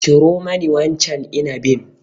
Ciro mani wancan inabin.